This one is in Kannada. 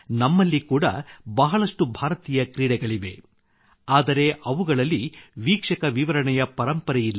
ನಮ್ಮಲ್ಲಿ ಕೂಡ ಬಹಳಷ್ಟು ಭಾರತೀಯ ಕ್ರೀಡೆಗಳಿವೆ ಆದರೆ ಅವುಗಳಲ್ಲಿ ವೀಕ್ಷಕ ವಿವರಣೆಯ ಪರಂಪರೆಯಿಲ್ಲ